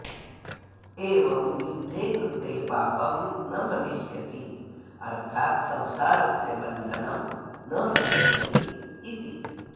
एवं युद्धे कृते पापं न भविष्यति अर्थाद् संसारस्य बन्धनं न भविष्यति इति